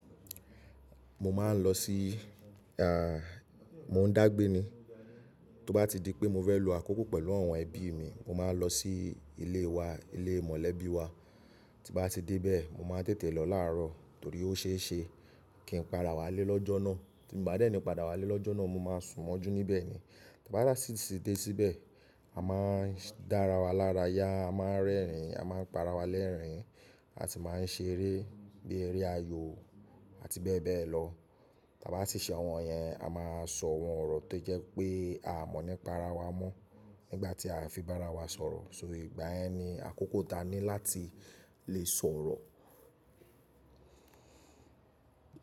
Mo máa ń lọ sí, àá, mò ń dágbé ni. Tó bá ti di pé mo fẹ́ lo àkókó pẹ̀lú àwọn ẹbí mi, mo máa lọ sí ilé wa, ilé mọ̀lẹ́bí wa. Ti n bá ti débẹ́ẹ, mo máa tètè lọ láàárọ̀, torí ó ṣe ṣe, kí n padà wá lé lọ́jọ́ náà. Ti mo bá dẹ́ni padà wá lé lọ́jọ́ náà, mo máa sùn mọ́jú níbẹ̀ ni. Ti a bá si--si ti dé síbẹ̀, a máa dára wa lára yá, a máa rẹ́rìn, a máa padá wa lẹ́rìn, à ti máa ń ṣe eré bí i eré ayò àti bẹ́ẹ̀ bẹ́ẹ̀ lọ. Ti a bá ti ṣe àwọn yẹn, a máa sọ̀ wọ́n ọ̀rọ̀ tó jẹ́ pé a mọ̀ ní pa ara wa mọ́ nígbà tí a fi bára wa sọ̀rọ̀. So, ìgbà yẹn ni àkókò ta ní láti lè sọ̀rọ̀.